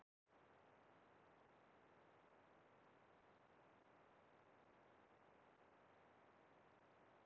Hún vísar til þeirra vaxta sem bjóðast á lánum á millibankamarkaði í London.